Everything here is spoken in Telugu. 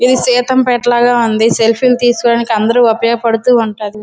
ఇది సీతంపేట లాగా ఉంది. సెలీఫీ తీసికుంది. అందరికి ఉపయోగపడుతున్నది.